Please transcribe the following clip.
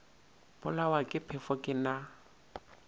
bolawa ke phefo ke na